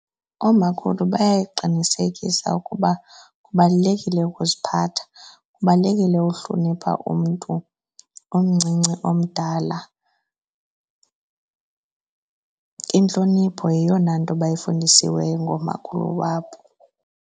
Oomakhulu bayaqinisekisa ukuba kubalulekile ukuziphatha, kubalulekile uhlonipha umntu umncinci omdala. Intlonipho yeyona nto bayifundisiweyo ngoomakhulu wabo.